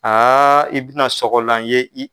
Aaa i bi na sɔgɔlan ye i